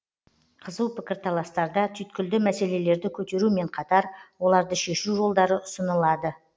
қызу пікірталастарда түйткілді мәселелерді көтерумен қатар оларды шешу жолдары ұсынылады